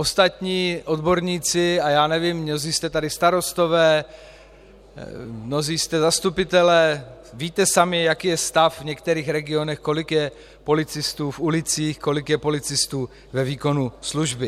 Ostatní odborníci, a já nevím, mnozí jste tady starostové, mnozí jste zastupitelé, víte sami, jaký je stav v některých regionech, kolik je policistů v ulicích, kolik je policistů ve výkonu služby.